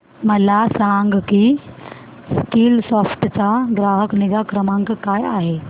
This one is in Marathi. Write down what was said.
मला सांग की स्कीलसॉफ्ट चा ग्राहक निगा क्रमांक काय आहे